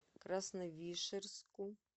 красновишерску